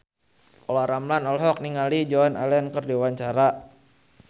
Olla Ramlan olohok ningali Joan Allen keur diwawancara